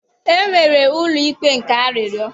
E nwere ụlọikpe nke arịrịọ.